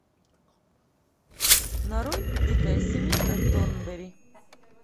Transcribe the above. нарой дикая семейка торнберри